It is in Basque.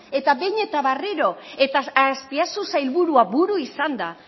eta behin eta berriro eta azpiazu sailburua buru izanda